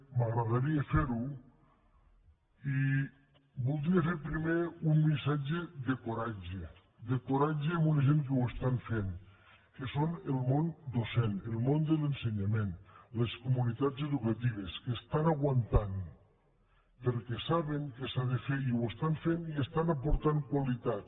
m’agradaria fer ho i voldria fer primer un missatge de coratge de coratge a una gent que ho estan fent que són el món docent el món de l’ensenyament les comunitats educatives que aguanten perquè saben que s’ha de fer i ho fan i aporten qualitat